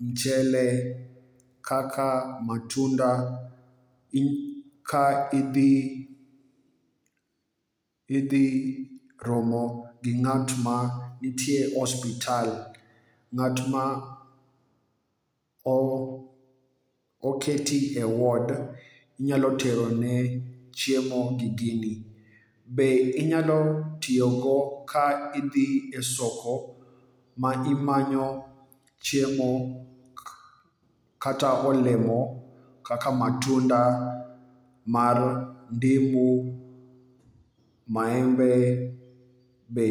muchele, kaka matunda ka idhi romo gi ng'at ma nitie osiptal. Ng'at ma oketi e ward, inyalo tero ne chiemo gi gini. Be inyalo tiyogo ka idhi e soko ma imanyo chiemo kata olemo kaka matunda mar ndimu, maembe be.